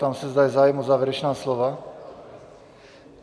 Ptám se, zda je zájem o závěrečná slova?